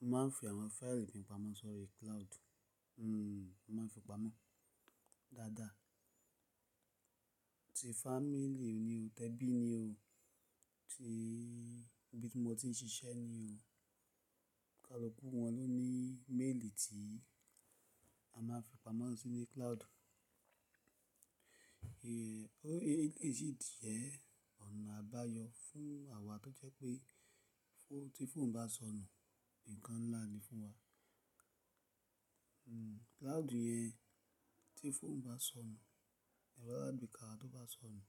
Mo máa ń fi àwọn fáìlì mi pamọ́ sórí cloud, hmm mo máa ń fi pamọ́ dáadáa. Ti fámílì mi ni ó, tẹ́bì mi ni ó, tí ibi tí mo ti ń ṣiṣẹ́ ni ó, ká lu kú wọ́n ló ni méélì tí a máa ń fi pamọ́ sí ní cloud. Díẹ̀ ọ̀nà àbáyọ fún àwa tó jẹ́ pé tí fóònù bá sọnù, nǹkan ńlá ni fún wa. Hmm cloud yẹn tí fóònù bá sọnù, ẹ̀rọ alágbèéká wa tó bá sọnù,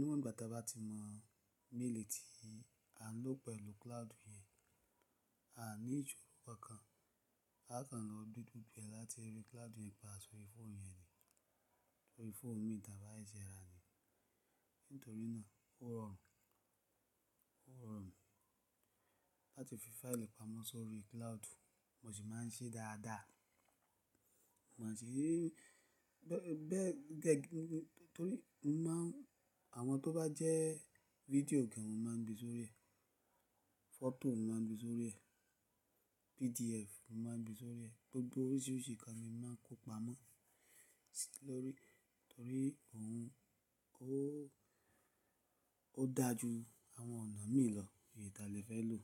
nígbà tí a bá ti mọ méélì tí a ń lò pẹ̀lú cloud yẹn, a ní ìṣòro kan kan, a kàn lọ gbe gbogbo ẹ́ láti rí cloud yẹn pa sórí fóònù yẹn ni, sórí fóònù mì tán bá sẹ́ṣẹ́ ra ni. Nítorí náà ó rọrùn, ó rọrùn láti fi fáìlì pamọ́ sórí cloud, mo sì máa ń ṣe é dáadáa. Mo máa ń ṣe é bẹ́ẹ̀, bẹ́ẹ̀ gẹ́gẹ́ nítorí mo máa ń àwọn tó bá jẹ́ video gan mo máa ń gbé sórí ẹ, fọtò mo máa ń gbé sórí ẹ, PDF mo máa ń gbé sórí ẹ, gbogbo oríṣìí ríṣìí nkan ni mo máa ń kó pamọ́ sórí í, nítorí òun ó ó dájú àwọn ọ̀nà míì lọ èyí tà léfẹ̀ẹ́ lò.